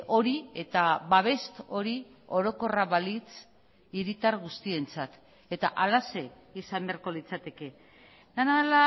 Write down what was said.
hori eta babes hori orokorra balitz hiritar guztientzat eta halaxe izan beharko litzateke dena